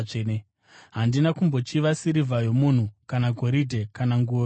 Handina kumbochiva sirivha yomunhu kana goridhe kana nguo yomunhu.